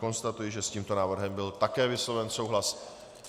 Konstatuji, že s tímto návrhem byl také vysloven souhlas.